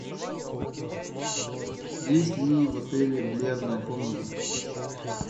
есть ли в отеле бильярдная комната